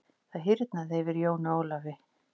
Það hýrnaði yfir Jóni Ólafi.